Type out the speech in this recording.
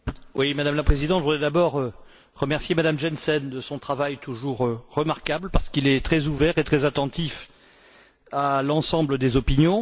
Madame la Présidente, je voudrais d'abord remercier M Jensen de son travail toujours remarquable, parce qu'il est très ouvert et très attentif à l'ensemble des opinions.